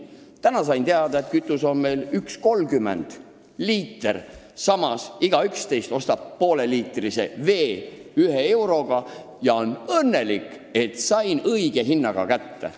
Täna sain teada, et kütus maksab meil 1,30 eurot liiter, samas poest ostame pooleliitrise veepudeli ühe euroga ja oleme õnnelikud, et saime õige hinnaga kätte.